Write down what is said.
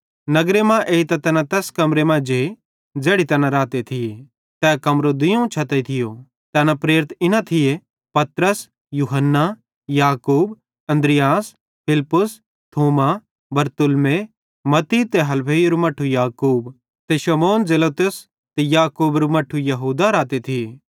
नगरे मां एइतां तैना तैस कमरे मां जे ज़ैड़ी तैना रहते थिये तै कमरो दुइयोवं छते थियो तैना प्रेरित इना थिये पतरस यूहन्ना याकूब अन्द्रियास फिलिप्पुस थोमा बरतुल्मै मत्ती ते हलफईरू मट्ठू याकूब ते शमौन जेलोतेस ते याकूबेरू मट्ठू यहूदा रहते थिये